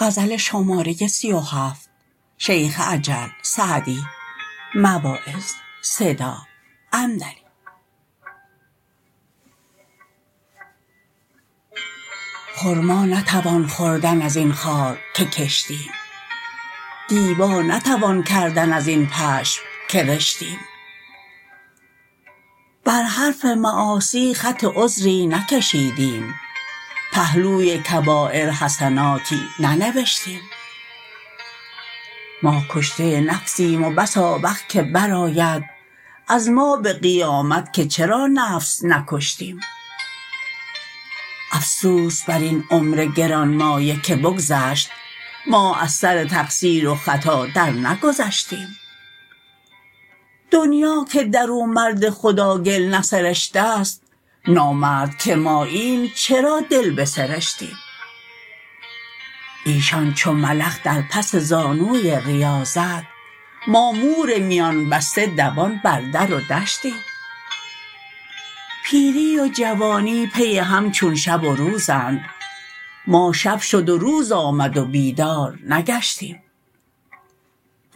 خرما نتوان خوردن از این خار که کشتیم دیبا نتوان کردن از این پشم که رشتیم بر حرف معاصی خط عذری نکشیدیم پهلوی کبایر حسناتی ننوشتیم ما کشته نفسیم و بس آوخ که برآید از ما به قیامت که چرا نفس نکشتیم افسوس بر این عمر گرانمایه که بگذشت ما از سر تقصیر و خطا درنگذشتیم دنیا که در او مرد خدا گل نسرشته ست نامرد که ماییم چرا دل بسرشتیم ایشان چو ملخ در پس زانوی ریاضت ما مور میان بسته دوان بر در و دشتیم پیری و جوانی پی هم چون شب و روزند ما شب شد و روز آمد و بیدار نگشتیم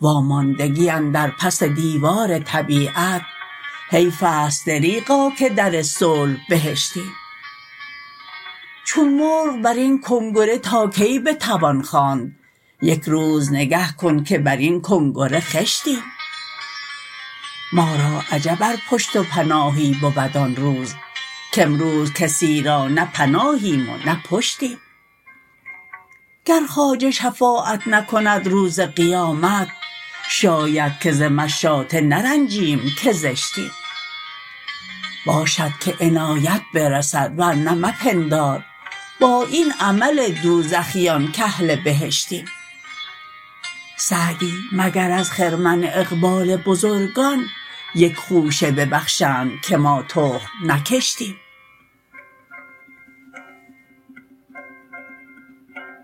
واماندگی اندر پس دیوار طبیعت حیف است دریغا که در صلح بهشتیم چون مرغ بر این کنگره تا کی بتوان خواند یک روز نگه کن که بر این کنگره خشتیم ما را عجب ار پشت و پناهی بود آن روز کامروز کسی را نه پناهیم و نه پشتیم گر خواجه شفاعت نکند روز قیامت شاید که ز مشاطه نرنجیم که زشتیم باشد که عنایت برسد ورنه مپندار با این عمل دوزخیان کاهل بهشتیم سعدی مگر از خرمن اقبال بزرگان یک خوشه ببخشند که ما تخم نکشتیم